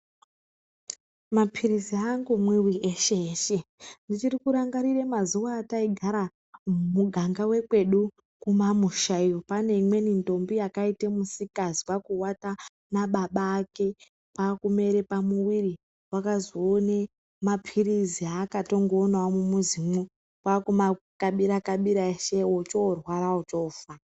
Mapirizi haangomwiwi eshe eshe, ndichiri kurangarire mazuva ataigara muganga wekwedu kumamusha iyoo. Pane imweni ndombi yakaite misikazwaa kuwata nababa ake kwaa kumere pamuwiri, wakazoone mapirizi aakatongoonavo mumuzimo kwaa kuma kabira - kabira ose ochorwara ochoofaa.